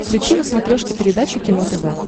включи на смотрешке передачу кино тв